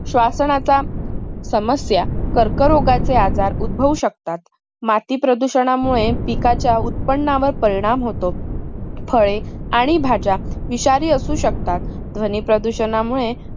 असण्याचा समस्या कर्क रोगाचे आजार उभाऊ शकतात. माती प्रदूषणामुळे पिकाच्या उत्पन्नावर परिणाम होतो. फळे आणि भाज्या विषारी असू शकतात. ध्वनी प्रदूषणामुळे